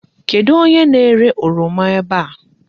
Kedụ onye na-ere oroma ebe a?